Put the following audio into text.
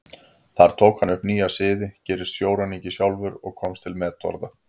Þar tók hann upp nýja siði, gerist sjóræningi sjálfur og komst til metorða.